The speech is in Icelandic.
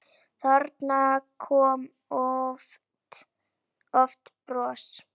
Þarna kom oft bros.